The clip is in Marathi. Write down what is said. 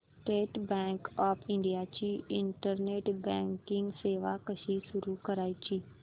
स्टेट बँक ऑफ इंडिया ची इंटरनेट बँकिंग सेवा कशी सुरू करायची